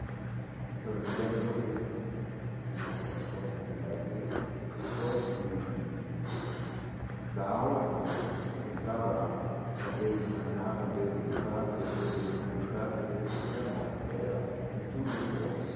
Né então eu me lembro que como uma das coisas de lazer, depois de de da aula eu entrava às vezes de manhã, às vezes de tarde, às vezes de manhã de tarde, às vezes até à noite, era um tour de força.